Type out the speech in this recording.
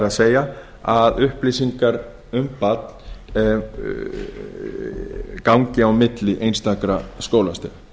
það er að upplýsingar um barn gangi á milli einstakra skólastiga